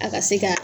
A ka se ka